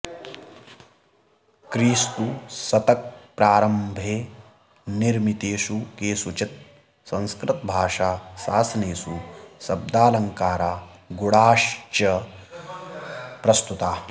क्रिस्तु शतक प्रारम्भे निर्मितेषु केषुचित् संस्कृतभाषा शासनेषु शब्दालङ्कारा गुणा श्च प्रस्तुताः